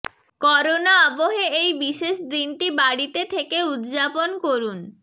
corona আবহে এই বিশেষ দিনটি বাড়িতে থেকে উদযাপন করুন